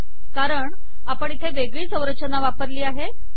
कारण आपण इथे वेगळी संरचना वापरली आहे